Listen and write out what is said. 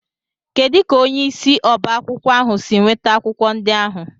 Kedu ka onye isi oba akwukwo ahu si nweta akwụkwọ ndị ahụ?